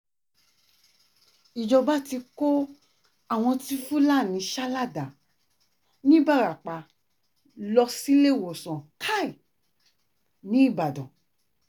ìjọba ti kó àwọn tí fúlàní sá ládàá nìbarapá lọ síléèwòsàn uch nìbàdàn